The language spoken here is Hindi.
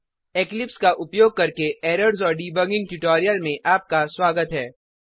इक्लिप्स का उपयोग करके एरर्स और डिबगिंग ट्यूटोरियल में आपका स्वागत है